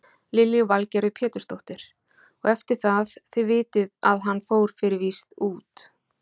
Lillý Valgerður Pétursdóttir: Og eftir það, þið vitið að hann fór fyrir víst út?